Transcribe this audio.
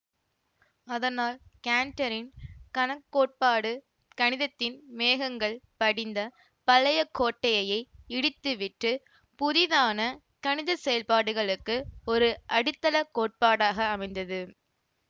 அதனால் கேன்ட்டரின் கணக்கோட்பாடு கணிதத்தின் மேகங்கள் படிந்த பழைய கோட்டையையே இடித்துவிட்டு புதிதான கணித செயல்பாடுகளுக்கு ஒரு அடித்தளக் கோட்பாடாக அமைந்தது